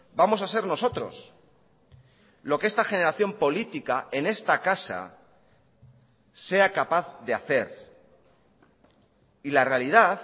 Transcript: vamos a ser nosotros lo que esta generación política en esta casa sea capaz de hacer y la realidad